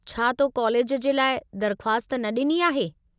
छा तो कॉलेज जे लाइ दर्ख़्वास्त न ॾिनी आहे?